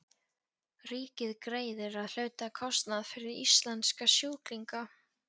Ríkið greiðir að hluta kostnað fyrir íslenska sjúklinga.